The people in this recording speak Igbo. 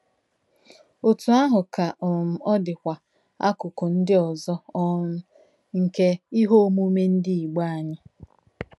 Otú ahụ ka um ọ dịkwa akụkụ ndị ọzọ um nke ihe omume ndị Igbo anyị